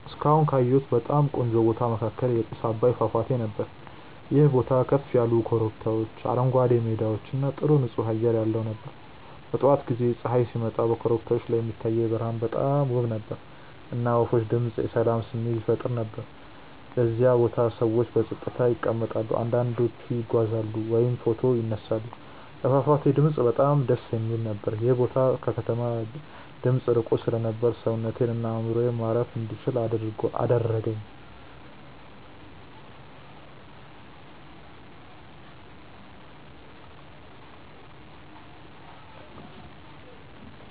እስካሁን ካየሁት በጣም ቆንጆ ቦታ መካከል የጥስ አባይ ፏፏቴ ነበር። ይህ ቦታ ከፍ ያሉ ኮረብቶች፣ አረንጓዴ ሜዳዎች እና ጥሩ ንፁህ አየር ያለው ነበር። በጠዋት ጊዜ ፀሐይ ሲወጣ በኮረብቶቹ ላይ የሚታየው ብርሃን በጣም ውብ ነበር፣ እና የወፎች ድምፅ የሰላም ስሜት ይፈጥር ነበር። በዚያ ቦታ ሰዎች በጸጥታ ይቀመጣሉ፣ አንዳንዶቹ ይጓዛሉ ወይም ፎቶ ይነሳሉ። የፏፏቴው ድምፅ በጣም ደስ የሚል ነበር። ይህ ቦታ ከከተማ ድምፅ ርቆ ስለነበር ሰውነቴን እና አእምሮዬን ማረፍ እንዲችል አደረገኝ።